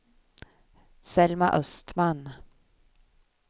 Selma Östman